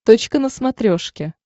точка на смотрешке